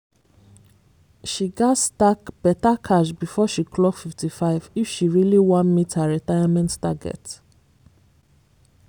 she gats stack better cash before she clock 55 if she really wan meet her retirement target.